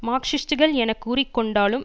மார்க்சிஸ்டுகள் என கூறி கொண்டாலும்